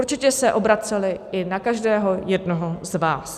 Určitě se obraceli i na každého jednoho z vás.